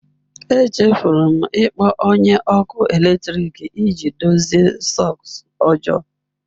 Echefuru m ịkpọ onye ọkụ eletrik iji dozie sọks ọjọọ.